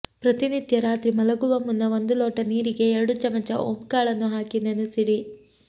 ಪ್ರತಿನಿತ್ಯ ರಾತ್ರಿ ಮಲಗುವ ಮುನ್ನ ಒಂದು ಲೋಟ ನೀರಿಗೆ ಎರಡು ಚಮಚ ಓಂ ಕಾಳನ್ನು ಹಾಕಿ ನೆನೆಸಿಡಿ